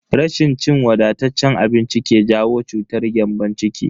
Rashin cin wadataccen abinci ke jawo cutar gyambon ciki.